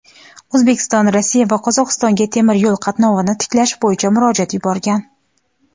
O‘zbekiston Rossiya va Qozog‘istonga temir yo‘l qatnovini tiklash bo‘yicha murojaat yuborgan.